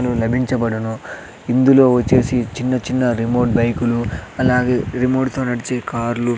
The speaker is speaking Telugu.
లభించబడును ఇందులో వొచ్చేసి చిన్న చిన్న రిమోట్ బైకులు అలాగే రిమోట్ తో నడిచే కార్లు --